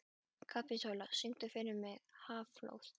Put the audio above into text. Kapitola, syngdu fyrir mig „Háflóð“.